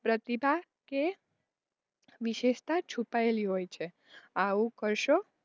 પ્રતિભા કે વિશેષતા છુપાયેલી હોય છે. આવું કરશો,